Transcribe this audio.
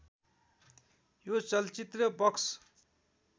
यो चलचित्र बक्स